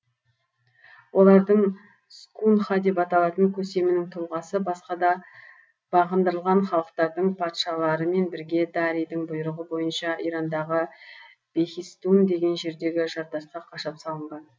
олардың скунха деп аталатын көсемінің тұлғасы баска да бағындырылған халықтардың патшаларымен бірге дарийдің бұйрығы бойынша ирандағы бехистун деген жердегі жартасқа қашап салынған